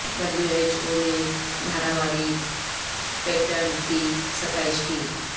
W H O نے Dharavi pattern کی ستائش کی